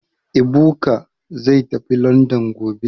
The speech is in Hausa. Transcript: Ebuka zai tafi Landan gobe